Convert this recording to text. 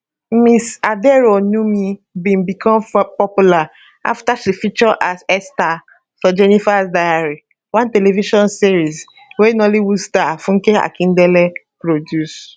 ms aderounmu bin become popular afta she feature as esther for jenifas diary one television series wey nollywood star funke akindele produce